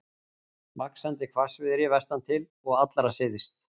Vaxandi hvassviðri vestantil og allra syðst